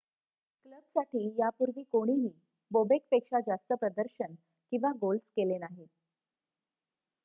क्लबसाठी यापूर्वी कोणीही बोबेकपेक्षा जास्त प्रदर्शन किंवा गोल्स केले नाहीत